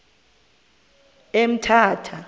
emthatha